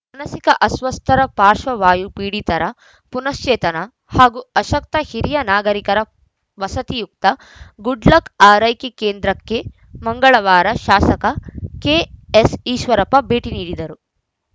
ಮಾನಸಿಕ ಅಸ್ವಸ್ಥರ ಪಾಶ್ರ್ವವಾಯು ಪೀಡಿತರ ಪುನಶ್ಚೇತನ ಹಾಗೂ ಅಶಕ್ತ ಹಿರಿಯ ನಾಗರೀಕರ ವಸತಿಯುಕ್ತ ಗುಡ್‌ಲಕ್‌ ಆರೈಕೆ ಕೇಂದ್ರಕ್ಕೆ ಮಂಗಳವಾರ ಶಾಸಕ ಕೆಎಸ್‌ಈಶ್ವರಪ್ಪ ಭೇಟಿ ನೀಡಿದ್ದರು